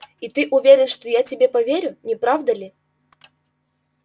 и ты уверен что я тебе поверю не правда ли